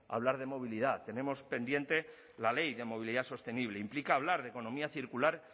hablar de movilidad tenemos pendiente la ley de movilidad sostenible implica hablar de economía circular